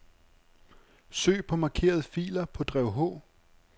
Søg på markerede filer på drev H.